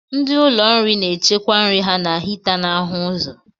Ndị ụlọ nri na-echekwa nri ha na hita na-ahụ ụzọ.